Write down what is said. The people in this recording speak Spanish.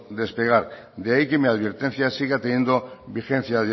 despegar de ahí que mi advertencia siga teniendo vigencia a